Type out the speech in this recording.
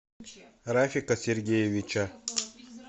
рафика сергеевича